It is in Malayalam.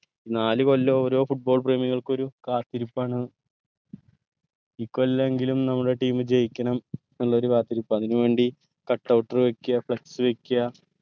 നാല് കൊല്ലം ഓരോ football പ്രേമികൾക്കും ഒരു കാത്തിരിപ്പാണ് ഈ കൊല്ലെങ്കിലും നമ്മളെ team ജയിക്കണം എന്നുള്ള ഒരു കാത്തിരിപ്പ് അതിന് വേണ്ടി cut out ർ വെക്ക flux വെക്ക